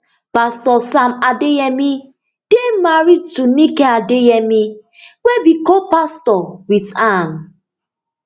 pastor sam adeyemi dey married to nike adeyemi wey be copastor wit am